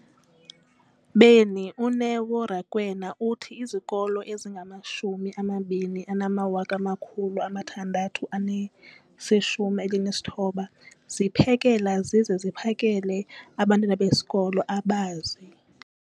beni, uNeo Rakwena, uthi izikolo ezingama-20 619 ziphekela zize ziphakele abantwana besikolo abazi-